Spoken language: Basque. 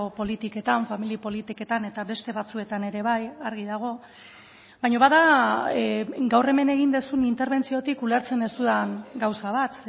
politiketan familia politiketan eta beste batzuetan ere bai argi dago baina bada gaur hemen egin duzun interbentziotik ulertzen ez dudan gauza bat